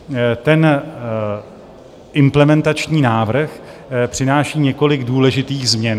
Ten implementační návrh přináší několik důležitých změn.